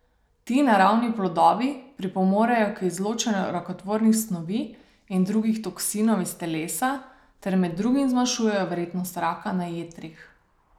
Ti naravni plodovi pripomorejo k izločanju rakotvornih snovi in drugih toksinov iz telesa ter med drugim zmanjšuje verjetnost raka na jetrih.